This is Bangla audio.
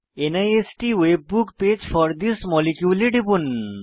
নিস্ট web page for this molecule এ টিপুন